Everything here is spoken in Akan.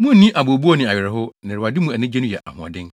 Munnni abooboo ne awerɛhow, na Awurade mu anigye no yɛ ahoɔden.”